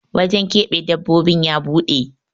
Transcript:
wajen keɓe dabbobin ya buɗe